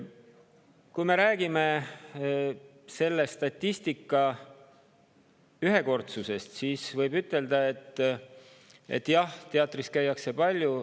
Kui me räägime selle statistika ühekordsusest, siis võib ütelda, et jah, teatris käiakse palju.